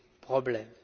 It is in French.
problèmes.